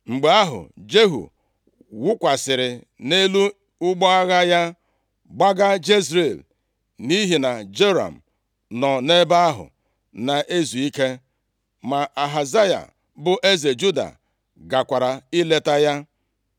Mgbe ahụ, Jehu wụkwasịrị nʼelu ụgbọ agha ya gbaga Jezril, nʼihi na Joram nọ nʼebe ahụ na-ezu ike. Ma Ahazaya, bụ eze Juda gakwara ileta ya.